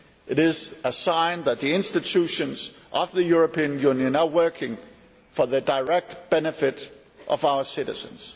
It is a sign that the institutions of the European Union are working for the direct benefit of our citizens.